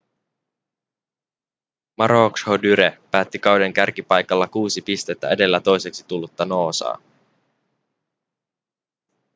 maroochydore päätti kauden kärkipaikalla kuusi pistettä edellä toiseksi tullutta noosaa